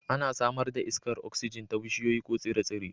Ana samar da iskar oksijin ta bishiyoyi ko tsire-tsire